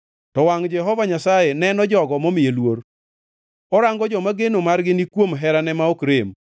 To wangʼ Jehova Nyasaye neno jogo momiye luor, orango joma geno margi ni kuom herane ma ok rem,